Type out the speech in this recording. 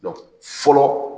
fɔlɔ